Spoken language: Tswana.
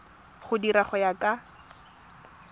di dira go ya ka